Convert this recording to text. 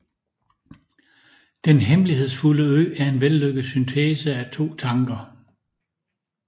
Den hemmelighedsfulde Ø er en vellykket syntese af to tanker